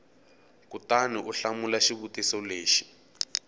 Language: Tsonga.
kutani u hlamula xivutiso lexi